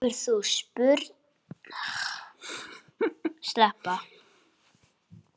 Hefurðu spurnir af slíku?